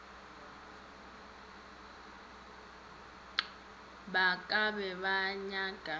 ba ka be ba nnyaka